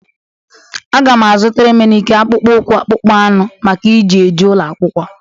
Aga m azụtara Emenike akpụkpọụkwụ akpụkpọ anụ maka iji eje ụlọ akwụkwọ.